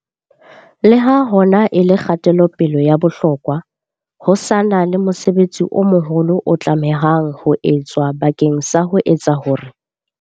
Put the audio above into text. Le ha hona e le kgatelo-pele ya bohlokwa, ho sa na le mosebetsi o moholo o tlamehang ho etswa bakeng sa ho etsa hore.